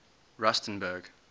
rusternburg